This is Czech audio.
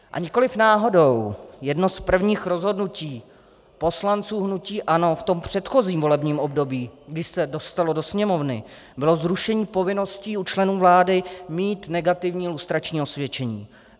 A nikoliv náhodou jedno z prvních rozhodnutí poslanců hnutí ANO v tom předchozím volebním období, když se dostalo do Sněmovny, bylo zrušení povinnosti u členů vlády mít negativní lustrační osvědčení.